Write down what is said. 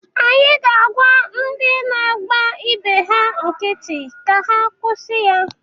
Anyị ga-agwa ndị na-agba ibe ha nkiti ka ha kwusi ya.